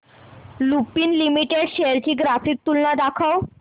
Lupin limited shares ची graphical तुलना दाखव